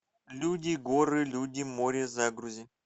люди горы люди море загрузи